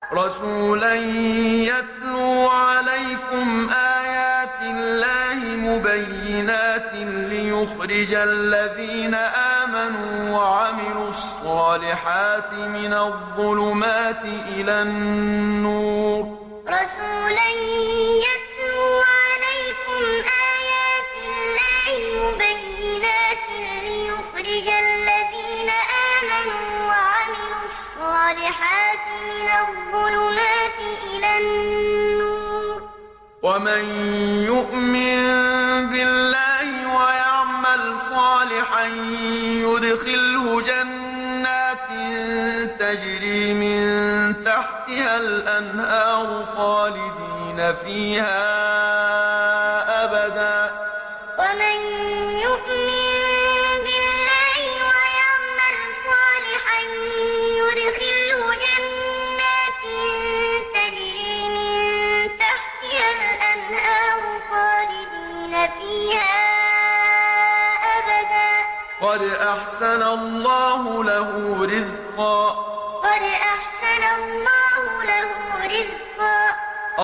رَّسُولًا يَتْلُو عَلَيْكُمْ آيَاتِ اللَّهِ مُبَيِّنَاتٍ لِّيُخْرِجَ الَّذِينَ آمَنُوا وَعَمِلُوا الصَّالِحَاتِ مِنَ الظُّلُمَاتِ إِلَى النُّورِ ۚ وَمَن يُؤْمِن بِاللَّهِ وَيَعْمَلْ صَالِحًا يُدْخِلْهُ جَنَّاتٍ تَجْرِي مِن تَحْتِهَا الْأَنْهَارُ خَالِدِينَ فِيهَا أَبَدًا ۖ قَدْ أَحْسَنَ اللَّهُ لَهُ رِزْقًا رَّسُولًا يَتْلُو عَلَيْكُمْ آيَاتِ اللَّهِ مُبَيِّنَاتٍ لِّيُخْرِجَ الَّذِينَ آمَنُوا وَعَمِلُوا الصَّالِحَاتِ مِنَ الظُّلُمَاتِ إِلَى النُّورِ ۚ وَمَن يُؤْمِن بِاللَّهِ وَيَعْمَلْ صَالِحًا يُدْخِلْهُ جَنَّاتٍ تَجْرِي مِن تَحْتِهَا الْأَنْهَارُ خَالِدِينَ فِيهَا أَبَدًا ۖ قَدْ أَحْسَنَ اللَّهُ لَهُ رِزْقًا